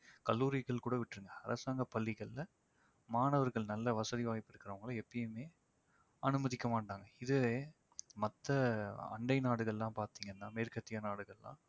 கல்லூரிகள் கூட விட்டுருங்க அரசாங்கப் பள்ளிகள்ல மாணவர்கள் நல்ல வசதி வாய்ப்பு இருக்கிறவங்கல எப்போவுமே அனுமதிக்க மாட்டாங்க. இதுவே மத்த அண்டை நாடுகள்லாம் பார்த்தீங்கன்னா மேற்கத்திய நாடுகள்லாம்